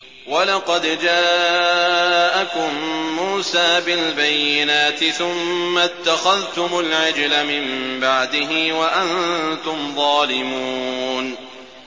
۞ وَلَقَدْ جَاءَكُم مُّوسَىٰ بِالْبَيِّنَاتِ ثُمَّ اتَّخَذْتُمُ الْعِجْلَ مِن بَعْدِهِ وَأَنتُمْ ظَالِمُونَ